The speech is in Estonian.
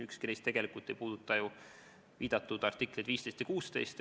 Ükski neist ei puuduta viidatud artikleid 15 ja 16.